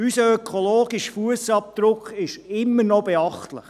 Unser ökologischer Fussabdruck ist immer noch beachtlich.